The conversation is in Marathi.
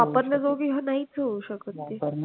वापरण्याजोगी हा नाहीच होऊ शकत.